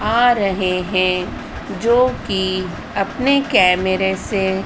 आ रहे हैं जो कि अपने कैमरे से--